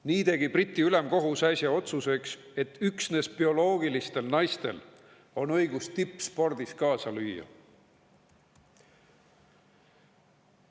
Nii tegi Briti ülemkohus äsja otsuse, et üksnes bioloogilistel naistel on õigus tippspordis kaasa lüüa.